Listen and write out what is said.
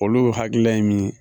Olu hakilila ye min ye